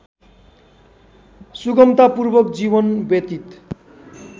सुगमतापूर्वक जीवन व्यतीत